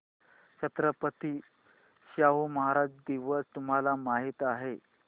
छत्रपती शाहू महाराज दिवस तुम्हाला माहित आहे